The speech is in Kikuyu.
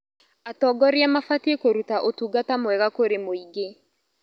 Atongoria mabatiĩ kũruta ũtungata mwega kũrĩ mũingĩ.